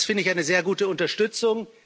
Das finde ich eine sehr gute Unterstützung!